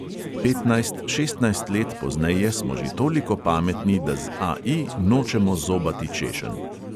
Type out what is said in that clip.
Petnajst, šestnajst let pozneje smo že toliko pametni, da z AI nočemo zobati češenj.